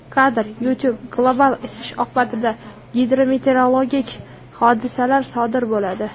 Kadr: YouTube Global isish oqibatida gidrometeorologik hodisalar sodir bo‘ladi.